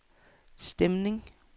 stemning